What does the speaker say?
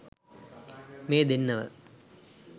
මේ දෙන්නව